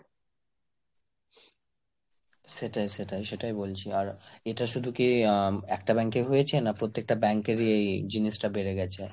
সেটাই সেটাই, সেটাই বলছি আর এটা শুধু কি আহ একটা bank এই হয়েছে না প্রত্যেকটা bank এরই এই জিনিসটা বেড়ে গেছে?